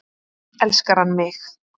Elskar hann mig?